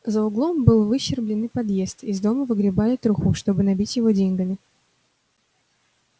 за углом был выщербленный подъезд из дома выгребали труху чтобы набить его деньгами